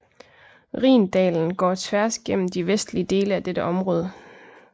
Rhindalen går tværs gennem de vestlige dele af dette område